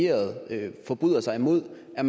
at